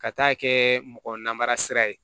Ka taa kɛ mɔgɔ namara sira ye